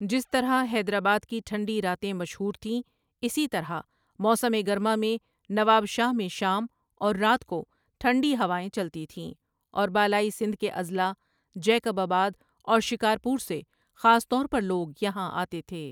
جس طرح حیدرآباد کی ٹھنڈی راتیں مشہور تھیں اسی طرح موسم گرما میں نواب شاہ میں شام اور رات کو ٹھنڈی ہوائیں چلتی تھیں اور بالائی سندھ کے اضلاع جیکب آباد اور شکارپور سے خاص طور پر لوگ یہاں آتے تھے ۔